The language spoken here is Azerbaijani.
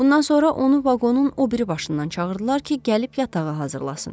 Bundan sonra onu vaqonun o biri başından çağırdılar ki, gəlib yatağı hazırlasın.